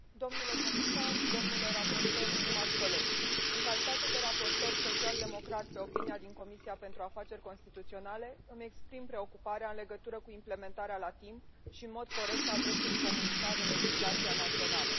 Domnule președinte, domnule comisar, domnule raportor, stimați colegi, în calitate de raportor social democrat pe avizul Comisiei pentru afaceri constituționale, îmi exprim preocuparea în legătură cu implementarea la timp și în mod corect a dreptului comunitar în legislația națională.